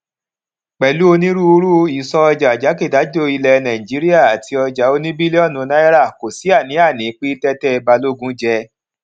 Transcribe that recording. pèlú onírúurú ìsọojà jákèjádò ilè nàìjíríà àti ojà oní bílíònù náírà kò sí àníàní pé tété balógun je